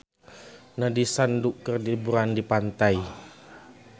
Nandish Sandhu keur liburan di pantai